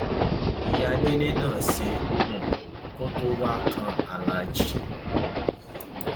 ìyá délé náà ṣe um kó tóó wáá kan aláàjì